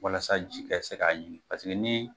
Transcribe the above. Walasa ji ka se k'a ɲigin paseke ni